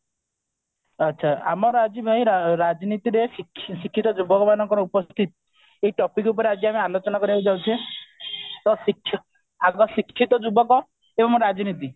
ଆଚ୍ଛା ଆମର ଆଜି ଭାଇ ରାଜନୀତିରେ ଶିକ୍ଷିତ ଯୁବକ ମାନଙ୍କର ଉପସ୍ଥିତି ଏଇ topic ଉପରେ ଆଜି ଆମେ ଆଲୋଚନା କରିବାକୁ ଯାଉଛେ ଆମର ଶିକ୍ଷିତ ଯୁବକ ଆଉ ଆମର ରାଜନୀତି